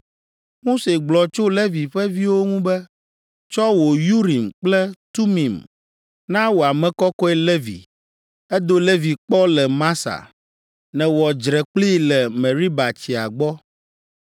Mose gblɔ tso Levi ƒe viwo ŋu be: “Tsɔ wò Urim kple Tumim na wò ame kɔkɔe Levi. Èdo Levi kpɔ le Masa; nèwɔ dzre kplii le Meriba tsia gbɔ.